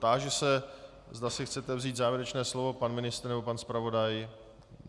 Táži se, zda si chcete vzít závěrečné slovo - pan ministr nebo pan zpravodaj?